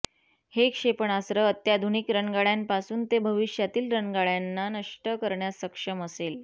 हे क्षेपणास्त्र अत्याधुनिक रणगाड्यांपासून ते भविष्यातील रणगाड्यांना नष्ट करण्यास सक्षम असेल